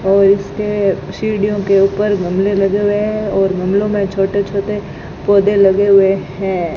और इसके सीढ़ियों के ऊपर गमले लगे हुए हैं और हमले में छोटे छोटे पौधे लगे हुए हैं।